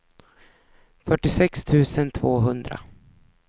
fyrtiosex tusen tvåhundra